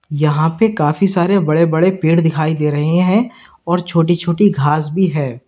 यहां पे काफी सारे बड़े बड़े पेड़ दिखाई दे रहे हैं और छोटी छोटी घास भी है।